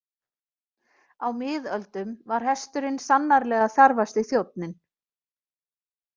Á miðöldum var hesturinn sannarlega þarfasti þjónninn.